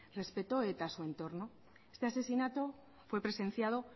respetó eta su entorno este asesinato fue presenciado